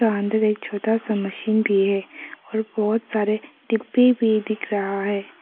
अंदर एक छोटा सा मशीन भी है और बहुत सारे डिब्बे भी दिख रहा है।